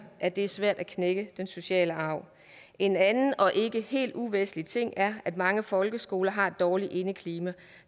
at det er svært at knække den sociale arv en anden og ikke helt uvæsentlig ting er at mange folkeskoler har et dårligt indeklima